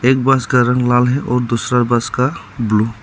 एक बस का रंग लाल है और दूसरा बस का ब्लू ।